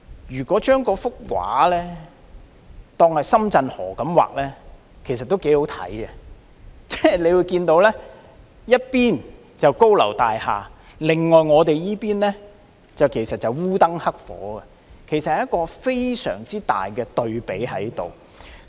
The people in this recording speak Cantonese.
如果將畫中的河換成深圳河，畫面也會相當有看頭：一邊是高樓大廈，另一邊——我們這邊——則烏燈黑火，有一個很大的對比。